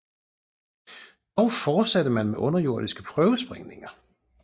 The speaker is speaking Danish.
Dog fortsatte man med underjordiske prøvesprængninger